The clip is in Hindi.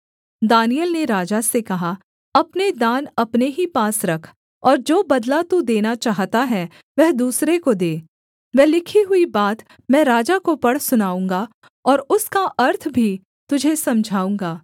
दानिय्येल ने राजा से कहा अपने दान अपने ही पास रख और जो बदला तू देना चाहता है वह दूसरे को दे वह लिखी हुई बात मैं राजा को पढ़ सुनाऊँगा और उसका अर्थ भी तुझे समझाऊँगा